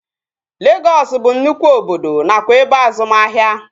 Legọs bụ nnụkwụ obodo nakwa ebe azụmahịa